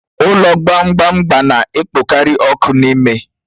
Ụlọ gbamgbam gba na-ekpokarị ọkụ n'ime